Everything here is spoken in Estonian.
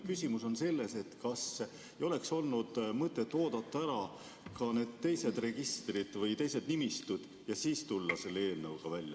Küsimus on selles, kas ei oleks olnud mõtet oodata ära ka need teised registrid või teised nimistud ja siis tulla selle eelnõuga välja.